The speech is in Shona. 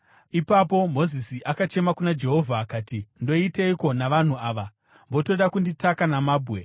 Ipapo Mozisi akachema kuna Jehovha akati, “Ndoiteiko navanhu ava? Votoda kunditaka namabwe.”